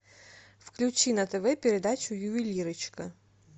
включи на тв передачу ювелирочка